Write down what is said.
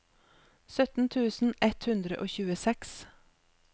sytten tusen ett hundre og tjueseks